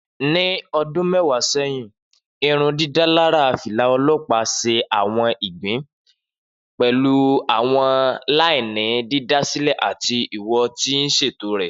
Ni ọdun mẹwa sẹhin, irundidalara fila ọlọpa ṣe awọn igbi, pẹlu awọn laini didasilẹ ati iwo ti iṣeto.